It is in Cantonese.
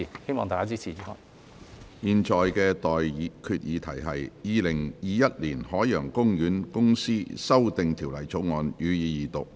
我現在向各位提出的待決議題是：《2021年海洋公園公司條例草案》，予以二讀。